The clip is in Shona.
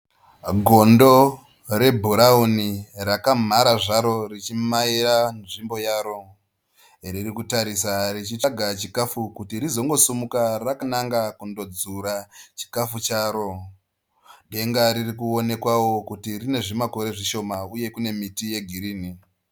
Gondo rebhurawuni rakamhara zvaro richimaira nzvimbo yaro. Ririkutarisa richitsvaga chikafu kuti rizongosimuka rangananga kundonzura chikafu charo. Denga ririkuonekwawo kuti rine zvimakore zvishoma uye kune miti yegirinhi.